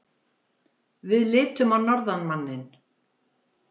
Við litum á norðanmanninn.